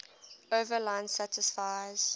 overline satisfies